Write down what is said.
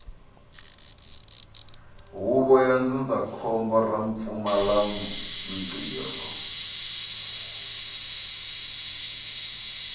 huvo ya ndzindzakhombo ra vupfumalantirho